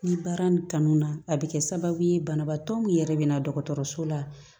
Ni baara nin kanu na a bɛ kɛ sababu ye banabaatɔ min yɛrɛ bɛ na dɔgɔtɔrɔso la